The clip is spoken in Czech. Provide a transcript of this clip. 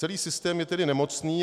Celý systém je tedy nemocný.